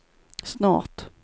snart